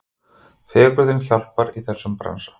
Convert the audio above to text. Fegurðin hjálpar í þessum bransa.